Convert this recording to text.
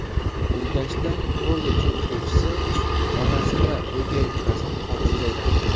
Urganchda kollej o‘quvchisi onasi va o‘gay ukasining qotiliga aylandi.